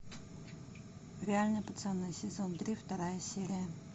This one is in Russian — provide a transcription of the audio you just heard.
реальные пацаны сезон три вторая серия